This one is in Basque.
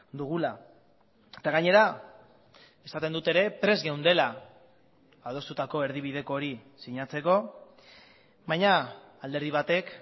dugula eta gainera esaten dut ere prest geundela adostutako erdibideko hori sinatzeko baina alderdi batek